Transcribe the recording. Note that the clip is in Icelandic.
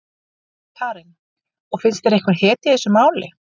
Karen: Og finnst þér einhver hetja í þessu máli?